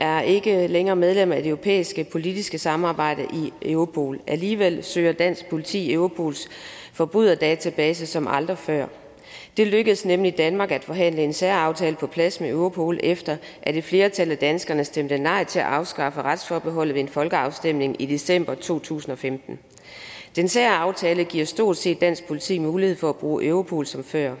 er ikke længere medlem af det europæiske politiske samarbejde i europol alligevel søger dansk politi i europols forbryderdatabase som aldrig før det lykkedes nemlig danmark at forhandle en særaftale på plads med europol efter at et flertal af danskerne stemte nej til at afskaffe retsforbeholdet ved en folkeafstemning i december to tusind og femten den særaftale giver stort set dansk politi mulighed for at bruge europol som før